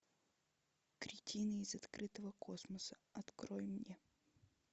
кретины из открытого космоса открой мне